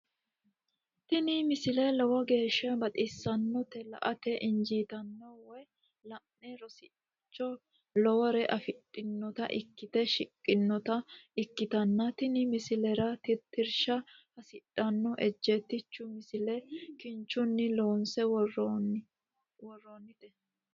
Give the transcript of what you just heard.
tini misile lowo geeshsha baxissannote la"ate injiitanno woy la'ne ronsannire lowore afidhinota ikkite shiqqinota ikkitanna tini misilera tittirsha hasidhanno ejjeetichu misile kinchunni loonse worroonnite.